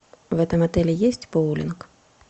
в этом отеле есть боулинг